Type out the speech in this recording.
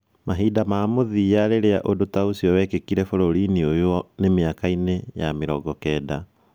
Mahinda ma mũthia rĩrĩa ũndũ ta ũcio wekĩkire bũrũri-inĩ ũyũ nĩ mĩaka-inĩ yamĩrongo kenda.